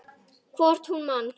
Hvort hún man!